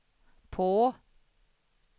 på